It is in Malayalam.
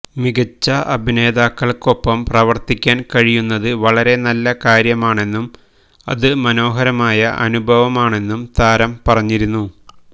മികച്ച അഭിനേതാക്കള്ക്കൊപ്പം പ്രവര്ത്തിക്കാന് കഴിയുന്നത് വളരെ നല്ല കാര്യമാണെന്നും അത് മനോഹരമായ അനുഭവമാണെന്നും താരം പറഞ്ഞിരുന്നു